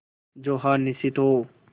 जो हार निश्चित हो